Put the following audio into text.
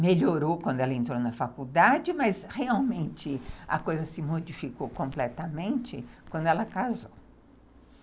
Melhorou quando ela entrou na faculdade, mas realmente a coisa se modificou completamente quando ela casou.